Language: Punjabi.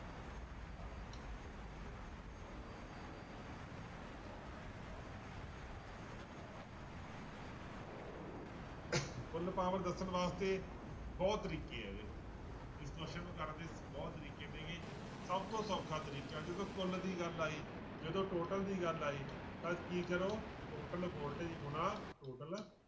ਕੁੱਲ power ਦੱਸਣ ਵਾਸਤੇ ਬਹੁਤ ਤਰੀਕੇ ਆ ਇਹਦੇ ਇਸ question ਨੂੰ ਕਰਨ ਦੇ ਬਹੁਤ ਤਰੀਕੇ ਨੇ ਗੇ ਸਭ ਤੋਂ ਸੌਖਾ ਤਰੀਕਾ ਜਦੋਂ ਕੁੱਲ ਦੀ ਗੱਲ ਆਈ ਜਦੋਂ total ਦੀ ਗੱਲ ਆਈ ਤਾਂ ਕੀ ਕਰੋ total voltage ਗੁਣਾ total